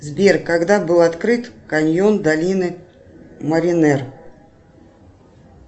сбер когда был открыт каньон долины маринер